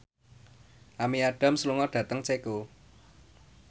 Amy Adams lunga dhateng Ceko